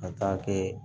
Ka taa kɛ